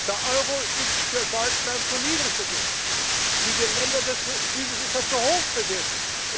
Der Euro ist für Deutschland zu niedrig bewertet, für die Länder des Südens ist er zu hoch bewertet.